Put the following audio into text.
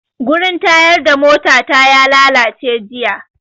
Wurin tayar da mota na ya lalace jiya